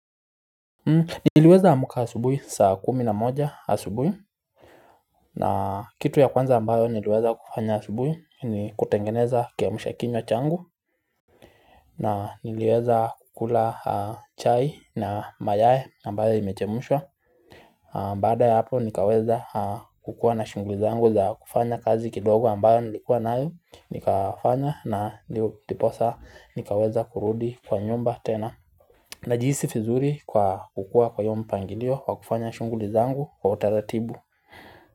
Niliweza amka asubuhi saa kumi na moja asubuhi na kitu ya kwanza ambayo niliweza kufanya asubuhi ni kutengeneza kiamsha kinywa changu na niliweza kukula chai na mayai ambayo imechemshwa Baada ya hapo nikaweza kukua na shughuli zangu za kufanya kazi kidogo ambayo nilikuwa nayo nikafanya na ndiposa nikaweza kurudi kwa nyumba tena Najihisi vizuri kwa kukua kwa hiyi mpangilio kwa kufanya shughuli zangu kwa utaratibu.